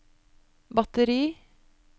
batteri